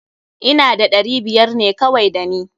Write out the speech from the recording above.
Ina da ɗari biyar ne kawai da ni.